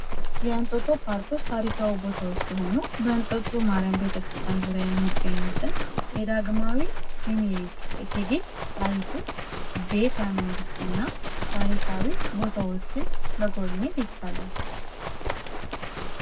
እንጦጦ ፓርክ ታሪካዊ ቦታዎች ሲሆኑ በእንጦጦ ማርያም ቤተክርስቲያን ዙሪያ የሚገኙትን የዳግማዊ ምኒሊክ እቴጌ ጣይቱ ቤተ መንግስትና ታሪካዊ ቦታዎችን መጎብኘት ይቻላል